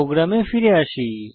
প্রোগ্রামে ফিরে আসি